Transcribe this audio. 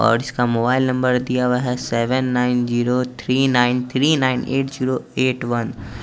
और इसका mobile number दिया हुआ है seven nine zero three nine three nine eight zero eight one --